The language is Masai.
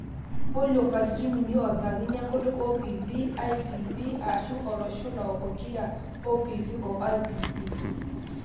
polio katitin uni opikakini enkutuk OPV, IPV, aashu oloshula pokira OPV o IPV